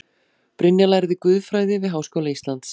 Brynja lærði guðfræði við Háskóla Íslands